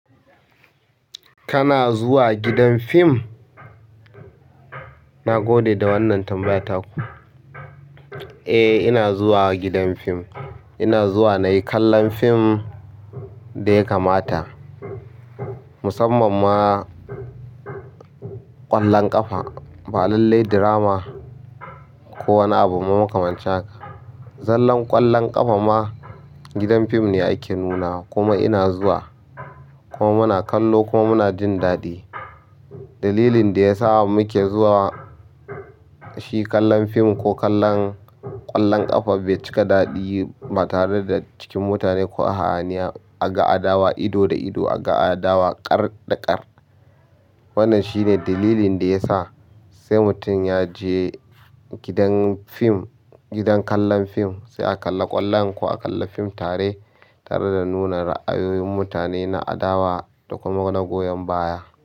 Kana zuwa gidan fim? Na gode da wannan tambaya taku. Eh, ina zuwa gidan fim. Ina zuwa nayi kallan fim ɗaya kamata musamman ma ƙwallon ƙafa. Ba lallai drama ko wani abu maka mancin haka. Zallan ƙwallon ƙafa ma gidan fim ne ake nunawa kuma ina zuwa kuma muna kallo kuma muna jin daɗi. Dalilin da ya sa muke zuwa shi kallon fim ko kallon ƙwallon ƙafa bai cika daɗi ba tare da cikin mutane ko a haniya a ga adawa ido da ido, a ga adawa ƙar da ƙar. Wannan shine dalilin da ya sa sai mutum ya je gidan fim, gidan kallon fim sai a kalla ƙwallon ko a kalla fim tare, tare da nuna ra'ayoyin mutane na adawa da kuma na goyon baya.